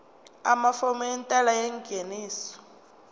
amafomu entela yengeniso